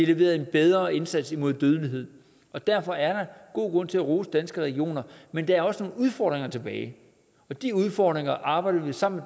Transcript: leveret en bedre indsats imod dødelighed og derfor er der god grund til at rose danske regioner men der er også nogle udfordringer tilbage og de udfordringer arbejder vi sammen